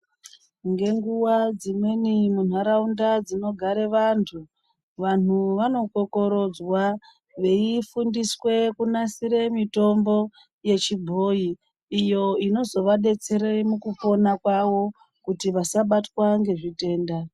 Ngenguva dzimweni mundaraunda dzinogare vantu vantu vanokokorodzwa veifundiswe kunasire mitombo yechibhoiyi iyo inozovadetsera mukupona kwavo kuti vasabatwa ngezvitenda.